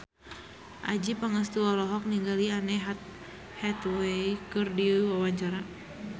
Adjie Pangestu olohok ningali Anne Hathaway keur diwawancara